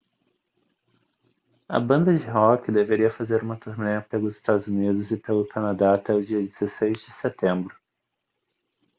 a banda de rock deveria fazer uma turnê pelos estados unidos e pelo canadá até o dia 16 de setembro